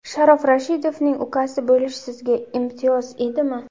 Sharof Rashidovning ukasi bo‘lish sizga imtiyoz edimi?